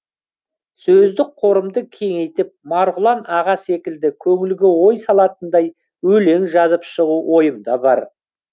сөздік қорымды кеңейтіп марғұлан аға секілді көңілге ой салатындай өлең жазып шығу ойымда бар